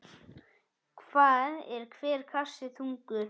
Hvað er hver kassi þungur?